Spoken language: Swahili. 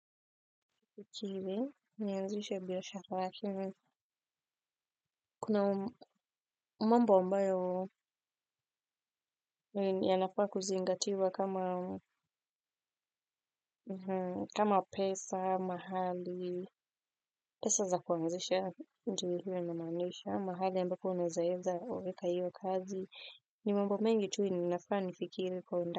Kuna mambo ambayo yanafaa kuzingatiwa kama kama pesa, mahali, pesa za kuanzisha ndivyo namaanisha, mahali ambako unaweza weka hiyo kazi, ni mambo mengi tu ni nafaa nifikiri kwa ndani.